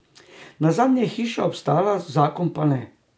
Nazadnje je hiša obstala, zakon pa ne.